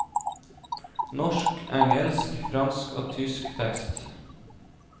Norsk, engelsk, fransk og tysk tekst.